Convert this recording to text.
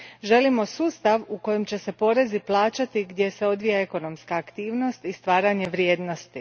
Želimo sustav u kojem će se porezi plaćati gdje se odvija ekonomska aktivnost i stvaranje vrijednosti.